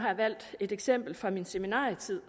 har jeg valgt et eksempel fra min seminarietid